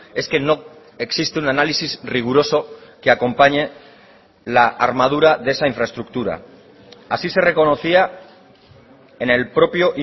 es que no existe un análisis riguroso que acompañe la armadura de esa infraestructura así se reconocía en el propio